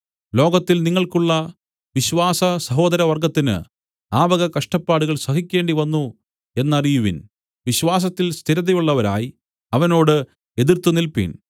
ലോകത്തിൽ നിങ്ങൾക്കുള്ള വിശ്വാസസഹോദരവർഗ്ഗത്തിന് ആ വക കഷ്ടപ്പാടുകൾ സഹിക്കേണ്ടിവന്നു എന്നറിയുവിൻ വിശ്വാസത്തിൽ സ്ഥിരതയുള്ളവരായി അവനോട് എതിർത്ത് നില്പിൻ